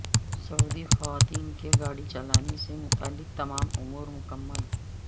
سعودی خواتین کے گاڑی چلانے سے متعلق تمام امور مکمل